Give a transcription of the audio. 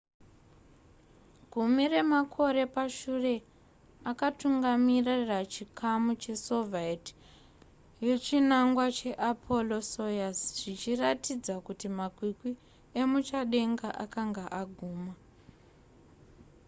gumi remakore pashure akatungamirira chikamu chesoviet yechinangwa cheapollo-soyuz zvichiratidza kuti makwikwi emuchadenga akanga aguma